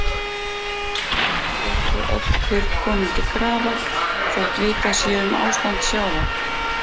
Ekki eru þó öll kurl komin til grafar, þótt vitað sé um ástand sjávar.